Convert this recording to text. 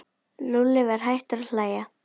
Lúlli var hættur að hlæja.